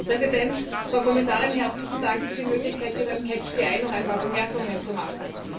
Herr Präsident, Frau Kommissarin! Herzlichen Dank für die Möglichkeit, hier beim noch ein paar Bemerkungen zu machen.